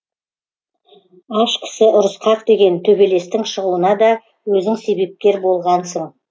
аш кісі ұрысқақ деген төбелестің шығуына да өзің себепкер болғансың